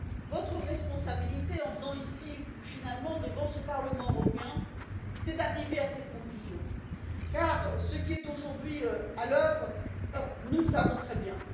Votre responsabilité en venant ici, finalement, devant ce Parlement européen est d'arriver à cette conclusion, car ce qui est aujourd'hui à l'œuvre est dévastateur, nous le savons très bien.